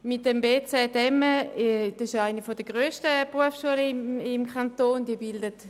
Das Bildungszentrum Emme (bz emme) ist bekanntlich eine der grössten Berufsschulen im Kanton Bern.